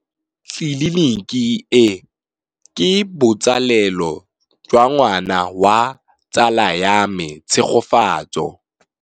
Tleliniki e, ke botsalêlô jwa ngwana wa tsala ya me Tshegofatso.